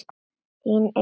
Þín, Elín.